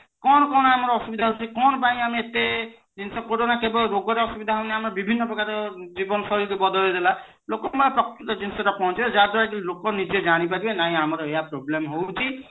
କଣ କଣ ଆମର ଅସୁବିଧା ହେଉଛି କଣ ପାଇଁ ଏତେ ଜିନିଷ କେବଳ ରୋଗ ରେ ଅସୁବିଧା ହଉନେ ଆମେ ବିଭିନ୍ନ ପ୍ରକାର ଜୀବନ ଶୈଳୀ ଯୋଉ ବଦଳେଇ ଦେଲା ଲୋକ ମାନଙ୍କ ପ୍ରକୂତ ଜିନିଷ ପହଞ୍ଚିବା ଲୋକ ମାନେ ନିଜେ ଜାଣିପାରିବେ ନାଇଁ ଆମର ଏୟା problem ହଉଛି